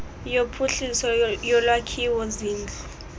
yophuhliso yolwakhiwo zindlu